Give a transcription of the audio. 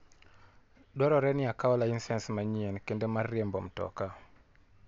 Dwarore ni akaw laisens manyien kendo mar riembo mtoka.